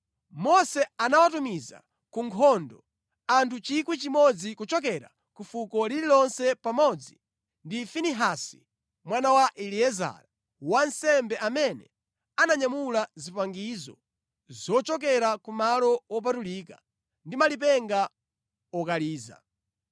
Mose anawatumiza ku nkhondo, anthu 1,000 kuchokera ku fuko lililonse pamodzi ndi Finehasi mwana wa Eliezara wansembe amene ananyamula zipangizo zochokera ku malo wopatulika ndi malipenga okaliza.